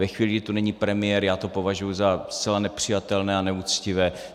Ve chvíli, kdy tu není premiér, já to považuji za zcela nepřijatelné a neuctivé.